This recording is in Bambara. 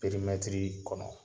Perimɛtiri kɔnɔ